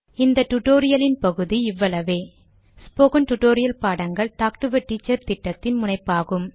இந்த டுடோரியலின் பகுதி இவ்வளவேஸ்போகன் டுடோரியல் பாடங்கள் டாக்டு எ டீச்சர் திட்டத்தின் முனைப்பாகும்